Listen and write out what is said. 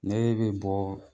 Nee be bɔɔ